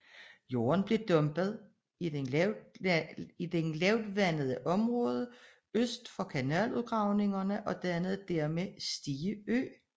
Jorden blev dumpet i det lavvandede område øst for kanaludgravningerne og dannede dermed Stige Ø